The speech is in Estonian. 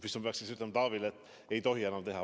Kas ma peaksin siis ütlema Taavile, et ei tohi enam teha?